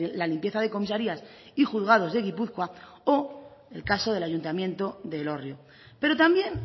la limpieza de comisarías y juzgados de gipuzkoa o el caso del ayuntamiento de elorrio pero también